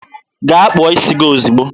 Gaa kpụọ isi gi ozigbo!